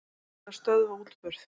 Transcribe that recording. Ætla að stöðva útburð